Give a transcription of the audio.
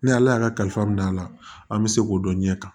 Ni ala y'a kalifa don a la an bɛ se k'o dɔn ɲɛ kan